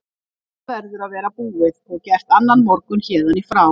Þetta verður að vera búið og gert annan morgun héðan í frá.